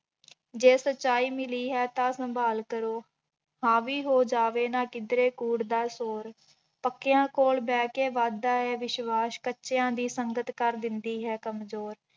ਜੇ ਸਚਾਈ ਮਿਲੀ ਹੈ ਤਾਂਂ ਸੰਭਾਲ ਕਰੋ, ਹਾਵੀ ਹੋ ਜਾਵੇ ਨਾ ਕਿੱਧਰੇ ਕੂੜ ਦਾ ਜ਼ੋਰ, ਪੱਕਿਆਂ ਕੋਲ ਬਹਿ ਕੇ ਵੱਧਦਾ ਹੈ ਵਿਸ਼ਵਾਸ਼, ਕੱਚਿਆਂ ਦੀ ਸੰਗਤ ਕਰ ਦਿੰਦੀ ਹੈ ਕੰਮਜ਼ੋਰ।